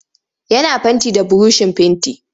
Yana fenti da burushin fenti.